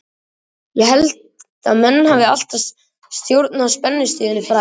Ég held að menn hafi alltaf stjórn á spennustiginu fræga.